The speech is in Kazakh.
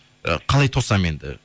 і қалай тосам енді